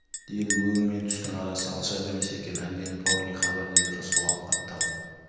деді өң мен түстің арасы алшақ емес екен әлденіп ал не хабар деді рысқұл ауқатты алып